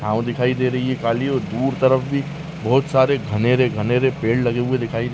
छाव दिखाई दे रही है काली और दूर तरफ भी बहोत सारे घनेरे -घनेरे पेड़ लगे हुए दिखाई --